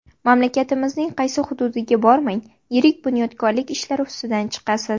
Mamlakatimizning qaysi hududiga bormang yirik bunyodkorlik ishlari ustidan chiqasiz.